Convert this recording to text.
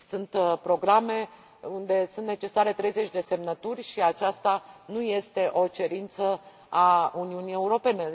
Sunt programe unde sunt necesare 30 de semnături și aceasta nu este o cerință a Uniunii Europene.